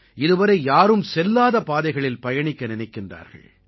இதுவரை யாரும் செல்லாத பாதைகளில் பயணிக்க நினைக்கிறார்கள்